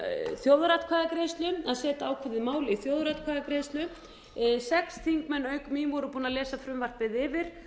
þjóðaratkvæðagreiðslu að setja ákveðið mál í þjóðaratkvæðagreiðslu sex þingmenn auk mín voru búnir að lesa frumvarpið yfir